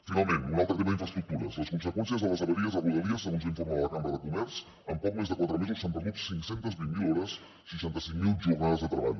finalment un altre tema d’infraestructures les conseqüències de les avaries a rodalies segons l’informe de la cambra de comerç en poc més de quatre mesos s’han perdut cinc cents i vint miler hores seixanta cinc mil jornades de treball